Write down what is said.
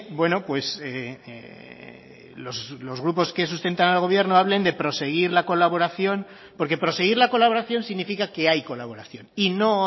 bueno pues los grupos que sustentan al gobierno hablen de proseguir la colaboración porque proseguir la colaboración significa que hay colaboración y no